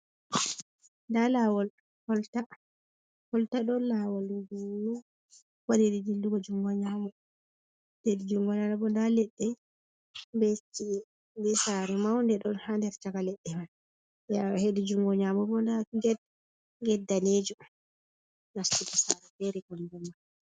Nda lawol kolta. Kolta ɗon lawol gunnu waɗiri dillugo jungo nƴamo. Hedi jungo nano bo nda leɗɗe be chi'e, be sare maunde ɗon ha nder chaka leɗɗe man, ɓe awi. Hedi jungo nƴamo bo nda get, get danejum nastugo sare fere kanjum ma.